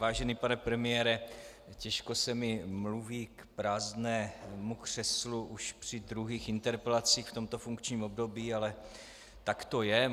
Vážený pane premiére, těžko se mi mluví k prázdnému křeslu už při druhých interpelacích v tomto funkčním období, ale tak to je.